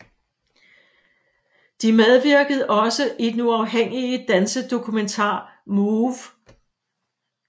De medvirkede også i den uafhængige dansedokumentar MOVE